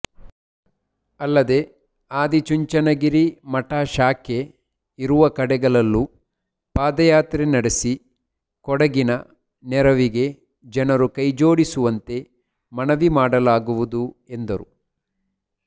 ಅಲ್ಲದೆ ಆದಿಚುಂಚನಗಿರಿ ಮಠ ಶಾಖೆ ಇರುವ ಕಡೆಗಳಲ್ಲೂ ಪಾದಯಾತ್ರೆ ನಡೆಸಿ ಕೊಡಗಿನ ನೆರವಿಗೆ ಜನರು ಕೈಜೋಡಿಸುವಂತೆ ಮನವಿ ಮಾಡಲಾಗುವುದು ಎಂದರು